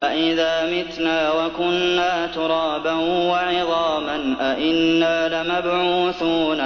أَإِذَا مِتْنَا وَكُنَّا تُرَابًا وَعِظَامًا أَإِنَّا لَمَبْعُوثُونَ